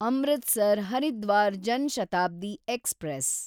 Amritsar Haridwar Jan Shatabdi express